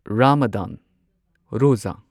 Ramadan ꯔꯣꯓꯥ